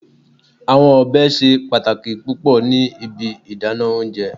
Awọn ọbẹ ṣe pataki pupọ ni ibi idana ounjẹ